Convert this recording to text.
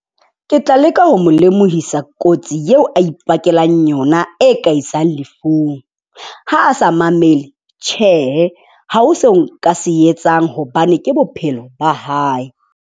Ke tla leka ho mo lemohisa kotsi eo a ipakelang yona e ka isang lefung. Ha a sa mamele tjhe ha ho se nka se etsang hobane ke bophelo ba hae.